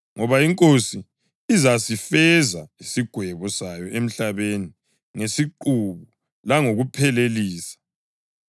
Ngoba iNkosi izasifeza isigwebo sayo emhlabeni ngesiqubu langokuphelelisa.” + 9.28 U-Isaya 10.22-23